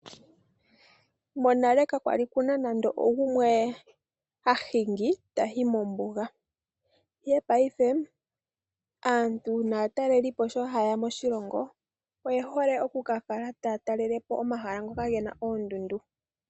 Monale kakwali kuna nande ogumwe hahingi tayi mombuga ihe payife aantu naatalelipo sho haaya moshilongo oye hole oku kakala taatalelepo omahala ngoka gena oondundu.